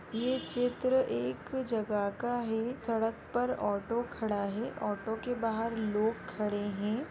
ये चित्र एक जगह का है सड़क पर ऑटो खड़ा है। ऑटो के बाहर लोग खड़े है।